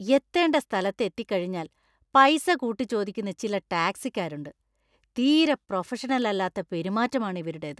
എത്തേണ്ട സ്ഥലത്ത് എത്തിക്കഴിഞ്ഞാൽ പൈസ കൂട്ടിച്ചോദിക്കുന്ന ചില ടാക്സിക്കാരുണ്ട്. തീരെ പ്രൊഫെഷണൽ അല്ലാത്ത പെരുമാറ്റം ആണ് ഇവരുടേത്.